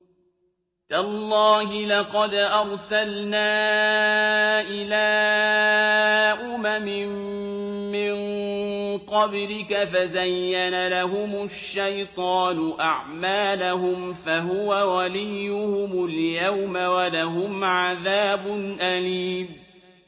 تَاللَّهِ لَقَدْ أَرْسَلْنَا إِلَىٰ أُمَمٍ مِّن قَبْلِكَ فَزَيَّنَ لَهُمُ الشَّيْطَانُ أَعْمَالَهُمْ فَهُوَ وَلِيُّهُمُ الْيَوْمَ وَلَهُمْ عَذَابٌ أَلِيمٌ